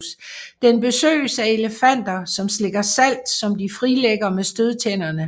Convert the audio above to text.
Den besøges af elefanter som slikker salt som de frilægger med stødtænderne